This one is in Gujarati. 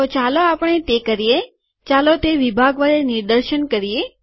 તો ચાલો આપણે તે કરીએ ચાલો તે વિભાગ વડે નિદર્શન કરીએ